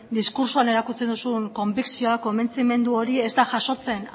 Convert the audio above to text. diskurtsoan erakutsi duzun konbikzioa konbentzimendu hori ez da jasotzen